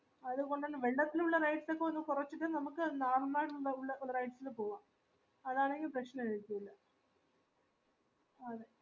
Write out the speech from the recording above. അതുകൊണ്ടുതന്നെ വെള്ളത്തിലുള്ള rides ഒക്കെ ഒന്ന് കോരചിട്ട് നമ്മക് അത് നായന്മാനുന്ടുല ഒന്ന് rides നു പൗആം അതാണേങ്കിൽ പ്രശ്നനായര്കുല